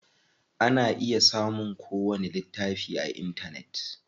Ana iya samun ko wani littafi a intanet.